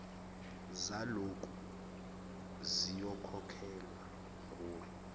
zaloku ziyokhokhelwa nguwe